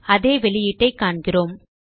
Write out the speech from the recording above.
அதே வெளியீட்டைக் காண்கிறோம்